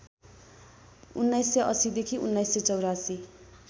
१९८० देखि १९८४